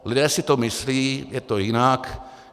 Lidé si to myslí, je to jinak.